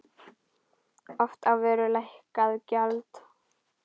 Oft á vöru lækkað gjald.